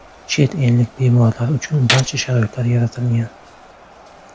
Chet ellik bemorlar uchun barcha sharoitlar yaratilgan.